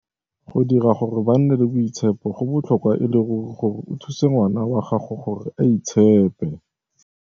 Go dira gore ba nne le boitshepo go botlhokwa e le ruri gore o thuse ngwana wa gago gore a itshepe.